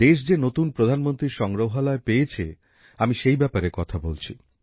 দেশ যে নতুন প্রধানমন্ত্রী সংগ্রহালয় পেয়েছে আমি সেই ব্যাপারে কথা বলছি